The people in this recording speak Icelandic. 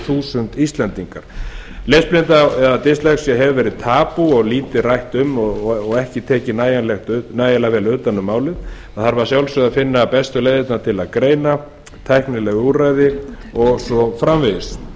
þúsund íslendingar lesblinda eða dyslexía hefur verið tabú og lítið rætt um hana og ekki tekið nægilega vel utan um málið að sjálfsögðu þarf að finna bestu leiðirnar til að greina þennan vanda tæknileg úrræði og svo framvegis við